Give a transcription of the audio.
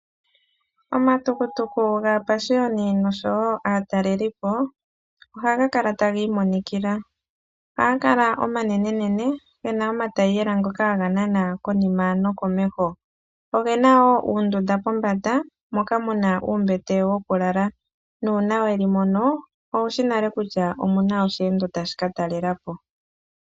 Omatukutuku aapashiyoni noshowo aatalelipo ohaga kala tagi imonikila. Ohaga kala omanenenene gena omatayiyela ngoka haga nana konima nokomeho. Ogena wo uundunda pombanda moka muna uumbete wokulala, nuuna weli mono owushi nale kutya omuna osheendo tashi ka talela po.